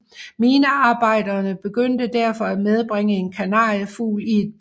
Minearbejderne begyndte derfor at medbringe en kanariefugl i et bur